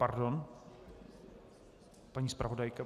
Pardon, paní zpravodajka.